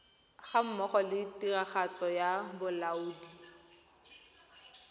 gammogo le tiragatso ya bolaodi